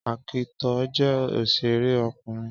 Ákítọ̀ jẹ́ òsèré ọkùnrin